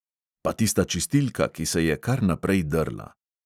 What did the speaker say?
Pa tista čistilka, ki se je kar naprej drla.